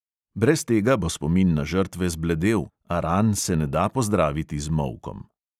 Brez tega bo spomin na žrtve zbledel, a ran se ne da pozdraviti z molkom.